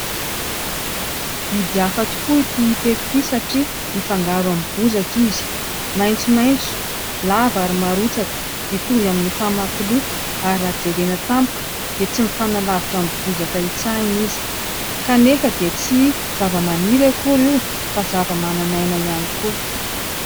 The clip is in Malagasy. Biby hafa tokoa ity hita eto inty satria mifangaro amin'ny bozaka izy maintsomaintso lava ary marotsaka mitohy amin'ny famakiloha ary raha jerena tampoka dia tsy mifanalavitra amin'ny bozaka hitsahina izy kanefa dia tsy zava-maniry akory io fa zava-manan'aina ihany koa.